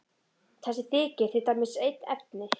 Þessi þykir til dæmis einn efni.